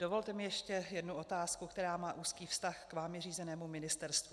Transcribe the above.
Dovolte mi ještě jednu otázku, která má úzký vztah k vámi řízenému ministerstvu.